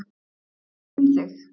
Ég finn þig.